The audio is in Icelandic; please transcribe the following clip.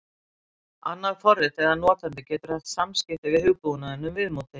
Annað forrit eða notandi getur haft samskipti við hugbúnaðinn um viðmótið.